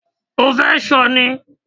O fẹ́ ṣọ ni?